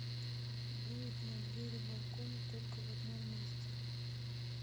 дует на двери балкона только в одном месте